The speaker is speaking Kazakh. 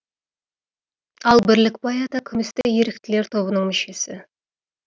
ал бірлікбай ата күмісті еріктілер тобының мүшесі